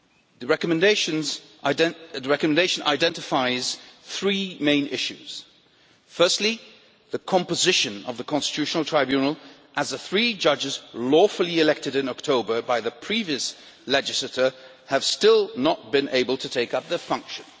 The recommendation identifies three main issues firstly, the composition of the Constitutional Tribunal, as the three judges lawfully elected in October by the previous legislator have still not been able to take up their function